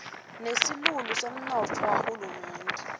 nesilulu semnotfo wahulumende